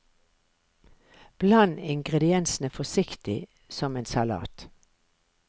Bland ingrediensene forsiktig som en salat.